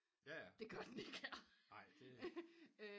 Det gør den ikke her